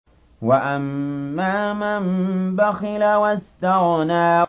وَأَمَّا مَن بَخِلَ وَاسْتَغْنَىٰ